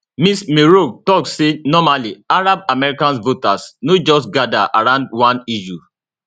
ms meroueh tok say normally arab american voters no just gada around one issue